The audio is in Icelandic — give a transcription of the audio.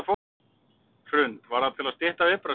Hrund: Var það til að stytta viðbragðstíma?